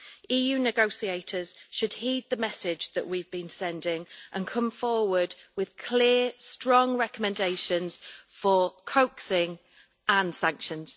EU negotiators should heed the message that we have been sending and come forward with clear, strong recommendations for coaxing and sanctions.